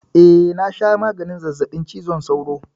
Eh, na sha maganin zazzaɓin cizon sauron yau